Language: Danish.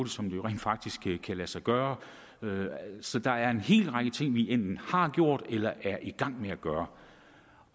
som det rent faktisk kan lade sig gøre så der er en hel række ting vi enten har gjort eller er i gang med at gøre